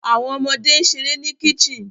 Awọn ọmọde n ṣere ni kicten